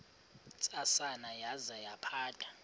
ntsasana yaza yaphatha